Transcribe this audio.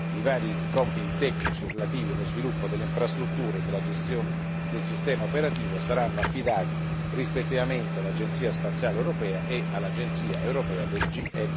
i vari compiti tecnici relativi allo sviluppo delle infrastrutture e della gestione del sistema operativo saranno affidati, rispettivamente, all'Agenzia spaziale europea e all'Agenzia europea del GNSS.